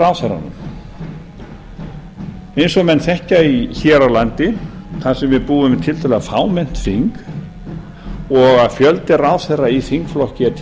ráðherranum eins og menn þekkja hér á landi þar sem við búum við tiltölulega fámennt þing og fjöldi ráðherra í þingflokki er